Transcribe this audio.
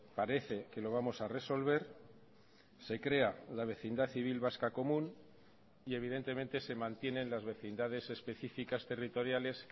parece que lo vamos a resolver se crea la vecindad civil vasca común y evidentemente se mantienen las vecindades específicas territoriales